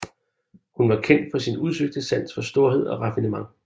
Hun var kendt for sin udsøgte sans for storhed og raffinement